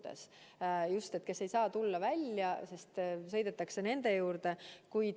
Need on inimesed, kes ei saa kodunt välja tulla, ja siis sõidetakse nende juurde.